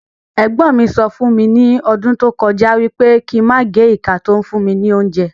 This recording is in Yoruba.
Ègbọ́n mí sọ fún mi ni ọdún tó kọjá wípé kín máa gé ìka to ń fún mi ní óúnjẹ